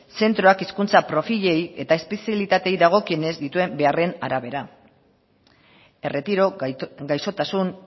zentroak hizkuntza profilei eta espezialitateei dagokienez dituen beharren arabera erretiro gaixotasun